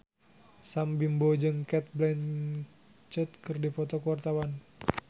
Sam Bimbo jeung Cate Blanchett keur dipoto ku wartawan